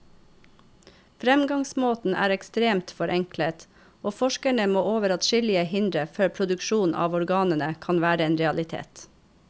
Fremgangsmåten er ekstremt forenklet, og forskerne må over adskillige hindre før produksjon av organene kan være en realitet.